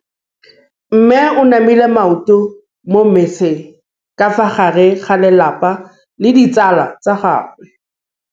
Mme o namile maoto mo mmetseng ka fa gare ga lelapa le ditsala tsa gagwe.